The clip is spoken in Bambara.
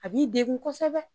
A b'i degun kosɛbɛ